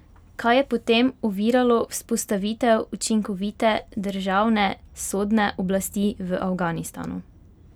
Kaj je potem oviralo vzpostavitev učinkovite državne sodne oblasti v Afganistanu?